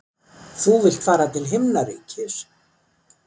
Þú vilt fara til himnaríkis.